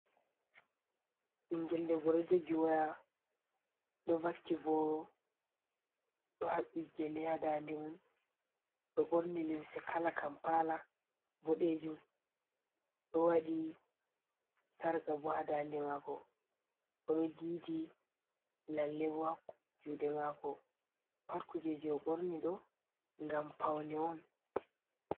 Ɓingel debo ɗo jogi waya ɗo vakki boro ɗo habbi gele ha dande mun, ɗo borni lemse kala kampala bodejum, ɗo wadi sarga bo ha dande mako ɓo ɗo didi lalle bo ha juɗe mako pat kuje je o borni ɗo ngam paune on.